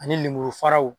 Ani lemuru faraw